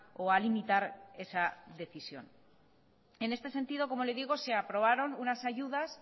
o limitar esa decisión en este sentido se aprobaron unas ayudas